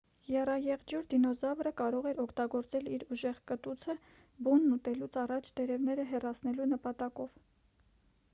եռաեղջյուր դինոզավրը կարող էր օգտագործել իր ուժեղ կտուցը բունն ուտելուց առաջ տերևները հեռացնելու նպատակով